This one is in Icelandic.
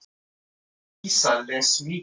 Dísa les mikið.